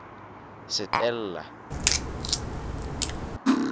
setella